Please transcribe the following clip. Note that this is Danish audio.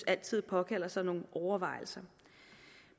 altid påkalder sig nogle overvejelser